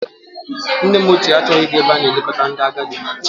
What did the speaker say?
Nne m ochie achọghị ịga ebe a na-eleta ndị agadi.